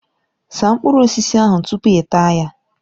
Saa mkpụrụ osisi ahụ tupu ịta ya!